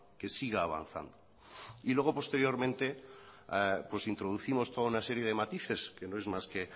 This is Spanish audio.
que siga avanzando y luego posteriormente pues introducimos toda una serie de matices que no es más que